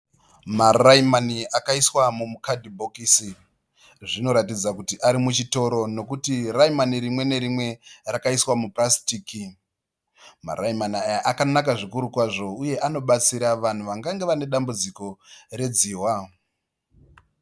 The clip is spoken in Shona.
Maraimani akaiswa mukadhibhokisi zvinoratidza kuti arimuchitoro nokuti raimani rimwe nerimwe rakaiswa mupurasitiki. Maraimani aya akanaka zvikuru kwazvo uye anobatsira vanhu vangange vane dambudziko redzihwa.